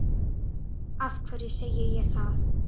Af hverju segi ég það?